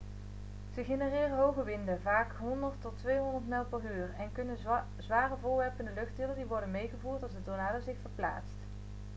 ze genereren hoge winden vaak 100-200 mijl/uur en kunnen zware voorwerpen in de lucht tillen die worden meegevoerd als de tornado zich verplaatst